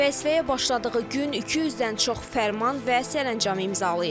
Vəzifəyə başladığı gün 200-dən çox fərman və sərəncam imzalayır.